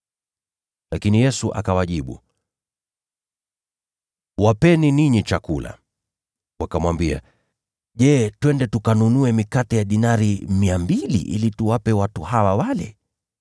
Lakini Yesu akawajibu, “Ninyi wapeni chakula.” Wakamwambia, “Je, twende tukanunue mikate ya dinari 200 ili tuwape watu hawa wale?”